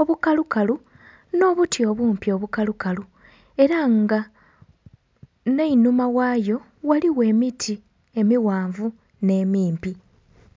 obukalukalu n'obuti obumpi obukalukalu era nga n'enhuma ghayo ghaliyo emiti emighanvu n'emimpi.